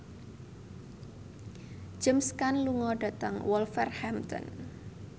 James Caan lunga dhateng Wolverhampton